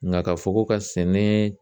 Ŋa ka fɔ ko ka sɛnɛ